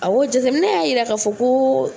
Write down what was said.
Awɔ, jateminɛ y'a yira ka fɔ ko